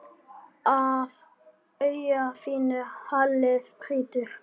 Af auga þínu haglið hrýtur.